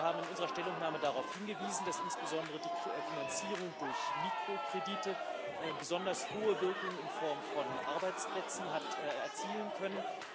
Wir haben in unserer Stellungnahme darauf hingewiesen, dass insbesondere die Finanzierung durch Mikrokredite besonders hohe Wirkung in Form von Arbeitsplätzen hat erzielen können.